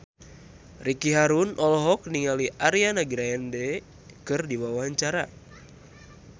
Ricky Harun olohok ningali Ariana Grande keur diwawancara